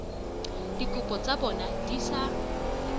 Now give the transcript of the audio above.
dikopo tsa bona di sa